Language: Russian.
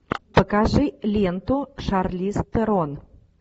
покажи ленту шарлиз терон